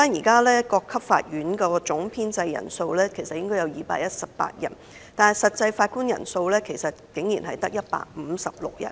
各級法院的總編制人數應為218人，但實際人數竟然只有156人。